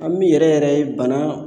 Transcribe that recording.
An min yɛrɛ yɛrɛ ye bana